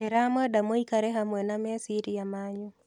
Ndĩramwenda mũikare hamwe na meciria manyu.